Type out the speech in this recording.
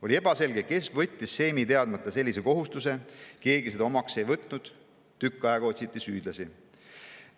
On ebaselge, kes võttis seimi teadmata sellise kohustuse, keegi seda omaks ei võtnud, tükk aega otsiti süüdlasi.